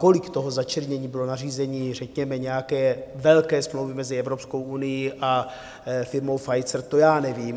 Kolik toho začernění bylo nařízení řekněme nějaké velké smlouvy mezi Evropskou unií a firmou Pfizer, to já nevím.